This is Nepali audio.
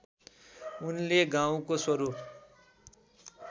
उनले गाउँको स्वरूप